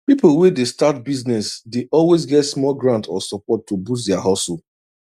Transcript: people wey dey start business dey always get small grant or support to boost their hustle